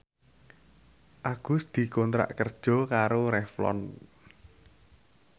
Agus dikontrak kerja karo Revlon